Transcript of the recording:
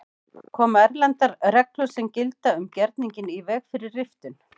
Koma erlendar reglur sem gilda um gerninginn í veg fyrir riftun?